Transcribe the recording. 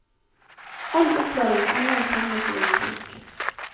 All opplæring er nå samlet i en bok.